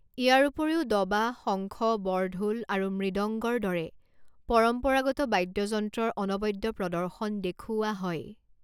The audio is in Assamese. ইয়াৰ উপৰিও দবা, শংখ, বৰঢোল আৰু মৃদংগৰ দৰে পৰম্পৰাগত বাদ্যযন্ত্ৰৰ অনবদ্য প্ৰদৰ্শন দেখুওৱা হয়।